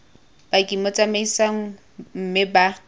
paki mo tsamaisong mme ba